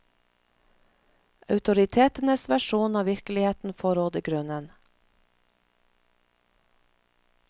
Autoritetenes versjon av virkeligheten får råde grunnen.